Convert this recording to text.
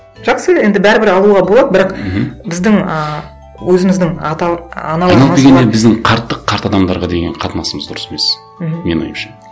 жақсы енді бәрібір алуға болады бірақ мхм біздің ыыы өзіміздің біздің қарттық қарт адамдарға деген қатынасымыз дұрыс емес мхм менің ойымша